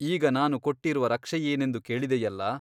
ಈಗ ನಾನು ಕೊಟ್ಟಿರುವ ರಕ್ಷೆಯೇನೆಂದು ಕೇಳಿದೆಯಲ್ಲ ?